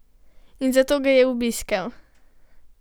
In zato ga je obiskal!